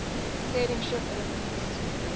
sailing ship elements